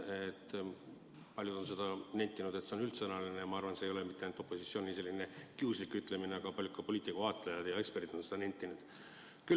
Paljud on seda nentinud, et see on üldsõnaline, ja ma arvan, et see ei ole mitte ainult opositsiooni selline kiuslik ütlemine, vaid ka paljud poliitikavaatlejad ja eksperdid on seda nentinud.